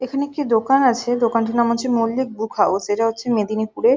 এখানে একটি দোকান আছে। দোকানটির নাম হচ্ছে মল্লিক বুক হাউস । এটা হচ্ছে মেদিনীপুর এ ।